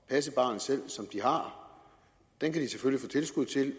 passe barnet selv kan de selvfølgelig få tilskud til